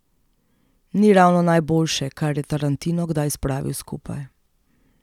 Ni ravno najboljše, kar je Tarantino kdaj spravil skupaj.